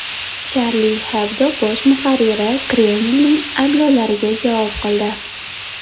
Charlie Hebdo bosh muharriri Kremlning ayblovlariga javob qildi.